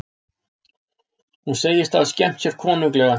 Hún segist hafa skemmt sér konunglega